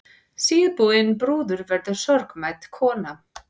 Síðbúin brúður verður sorgmædd kona.